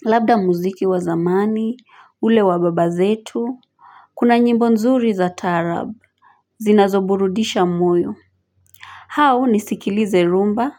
Labda muziki wa zamani, ule wa baba zetu. Kuna nyimbo nzuri za taarabu. Zinazoburudisha moyo hau nisikilize rumba.